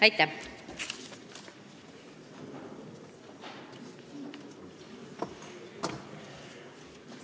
Aitäh!